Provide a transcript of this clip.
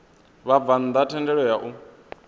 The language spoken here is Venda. vhabvann ḓa thendelo ya u